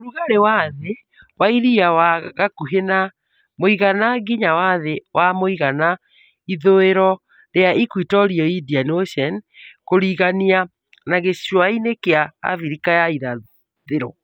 ũrugarĩ wa thĩ wa iria wa gakuhĩ na mũigana nginya wa thĩ wa mũigana ithuiro rĩa Equatorial Indian Ocean (kũrigania na gĩcũa kĩa Afrika ya Irathĩro)